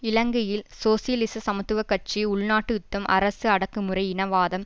இலங்கையில் சோசியலிச சமத்துவ கட்சி உள்நாட்டு யுத்தம் அரசு அடக்கமுறை இனவாதம்